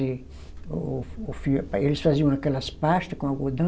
E o o fio, eles faziam aquelas pasta com algodão,